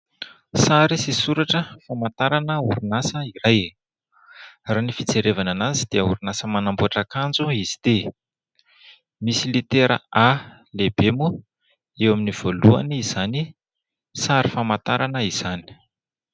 Sary sy soratra famantarana orinasa iray, raha ny fijerevana anazy dia orinasa manamboatra akanjo izy ity. Misy litera a lehibe moa eo amin'ny voalohan'izany sary famantarana izany.